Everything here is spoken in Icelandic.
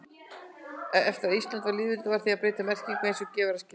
Eftir að Ísland varð lýðveldi varð því að breyta merkinu eins og gefur að skilja.